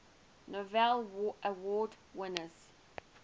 novello award winners